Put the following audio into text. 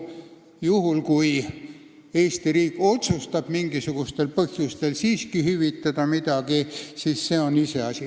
Juhul, kui Eesti riik otsustab mingisugustel põhjustel siiski midagi hüvitada, siis see on iseasi.